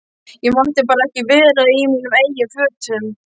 Ég mátti bara ekki vera í mínum eigin fötum.